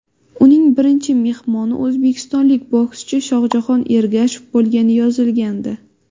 Uning birinchi mehmoni o‘zbekistonlik bokschi Shohjahon Ergashev bo‘lgani yozilgandi.